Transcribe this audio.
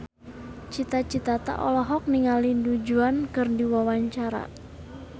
Cita Citata olohok ningali Du Juan keur diwawancara